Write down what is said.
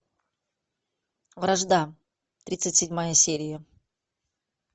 вражда тридцать седьмая серия